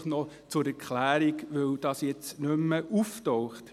Dies einfach noch zur Erklärung, weil das jetzt nicht mehr auftaucht.